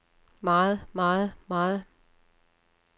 meget meget meget